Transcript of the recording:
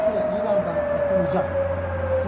Dolayısıyla İrandan atılacaq.